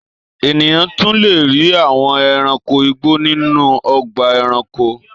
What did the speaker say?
Ènìyàn tún le rí àwọn ẹranko igbó nínú ọgbà-ẹranko.